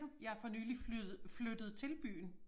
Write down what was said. Jeg er for nyligt flyttet flyttet til byen